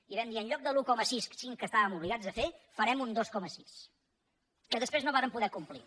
i vam dir en lloc de l’un coma cinc que estàvem obligats a fer farem un dos coma sis que després no vàrem poder complir